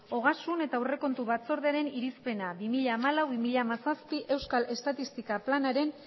ogasun eta aurrekontu batzordearen irizpena bi mila hamalau bi mila hamazazpi euskal estatistika planaren